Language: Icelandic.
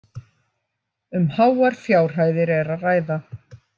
Um háar fjárhæðir er að ræða